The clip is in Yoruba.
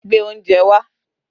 Gbé oúnjẹ wá!